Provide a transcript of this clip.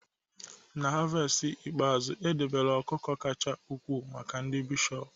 na havest ikpeazụ, edobere ọkụkọ kacha ukwuu maka ndị bishọp